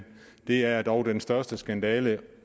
det er dog den største skandale ikke